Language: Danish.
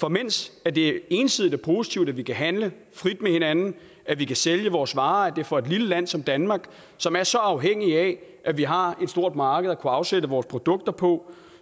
for mens det ensidigt er positivt at vi kan handle frit med hinanden og at vi kan sælge vores varer det for et lille land som danmark som er så afhængigt af at vi har et stort marked at kunne afsætte vores produkter på